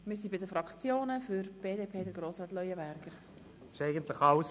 Nun haben die Fraktionen das Wort, zuerst Grossrat Leuenberger für die BDP.